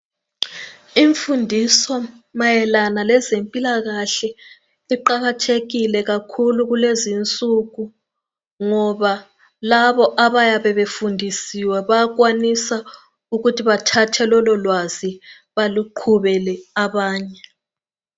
Imfundiso mayelana lezempilakahle iqakathekile kakhulu kulezinsuku ngiba labo abayabe befundisiwe bayakwanisa ukuthi bathathe lololwazi baluqhubele abanye.